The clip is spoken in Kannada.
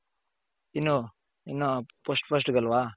ಇನ್ನು ಇನ್ನು first first ಗಲ್ವ